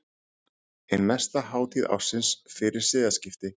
Ein mesta hátíð ársins fyrir siðaskipti.